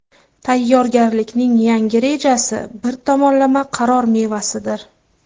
Tayyorgarlikning yangi rejasi bir tomonlama qaror mevasidir.